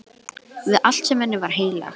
Við allt sem henni var heilagt.